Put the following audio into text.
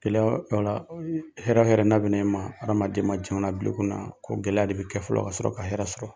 Gɛlɛya hɛrɛ hɛrɛ n'a bɛ na i ma hadamaden ma a bila i kun na ko gɛlɛya de bɛ kɛ fɔlɔ ka sɔrɔ ka hɛrɛ sɔrɔ.